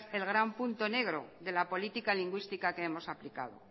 el gran punto negro de la política lingüística que hemos aplicado